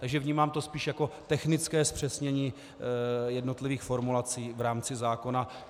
Takže vnímám to spíš jako technické zpřesnění jednotlivých formulací v rámci zákona.